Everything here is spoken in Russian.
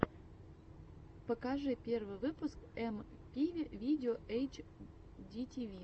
покажи первый выпуск эмпиви видео эйчдитиви